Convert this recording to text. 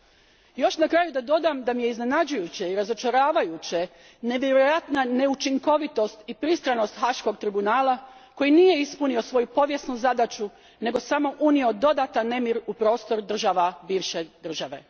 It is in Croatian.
Još bih dodala na kraju da me iznenađuje i razočarava nevjerojatna neučinkovitost i pristranost Haškog tribunala koji nije ispunio svoju povijesnu zadaću nego samo unio dodatan nemir u prostor država bivše države.